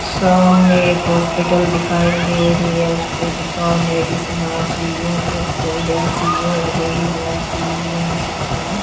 सामने एक हॉस्पिटल दिखाई दे रही है उस पे लिखा हुआ मेडिसिन आई_सी_यू पोस्ट उद्योगी विभाग पी_बी_एम अस्पताल--